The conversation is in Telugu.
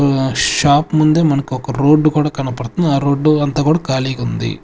ఒ షాప్ ముందే మనకి ఒక రోడ్డు కూడా కనపడుతుంది ఆ రోడ్డు అంతా కూడా ఖాళీగా ఉంది.